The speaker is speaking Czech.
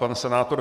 Pan senátor